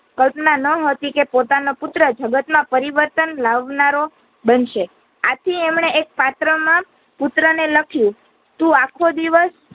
કલ્પના ન હતી કે પોતાના પુત્ર જગત માં પરિવર્તન લાવનારો બનશે આથી અમણે એક પાત્ર માં પુત્ર ને લખ્યું તું આખો દિવસ